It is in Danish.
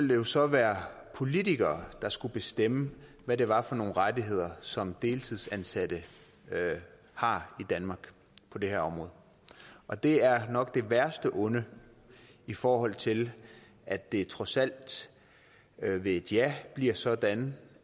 jo så være politikere der skulle bestemme hvad det var for nogle rettigheder som deltidsansatte har i danmark på det her område og det er nok det værste onde i forhold til at det trods alt ved et ja bliver sådan